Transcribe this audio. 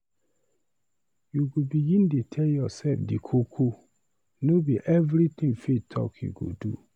You go begin dey tell yoursef di koko, no be everytin faith talk you go do.